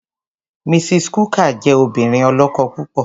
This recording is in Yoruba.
Mrs. Cooker jẹ́ obìnrin ọlọ́kọ̀ púpọ̀.